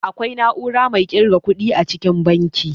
Akwai na'ura mai irga ƙuɗi a cikin banki